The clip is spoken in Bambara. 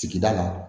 Sigida la